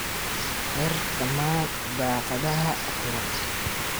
Xir dhammaan daaqadaha furan.